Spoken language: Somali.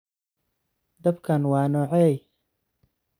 Dabkan wa nocey?